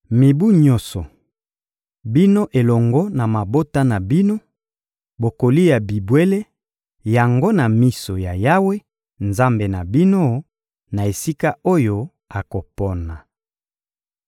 Mibu nyonso, bino elongo na mabota na bino, bokolia bibwele yango na miso ya Yawe, Nzambe na bino, na esika oyo akopona.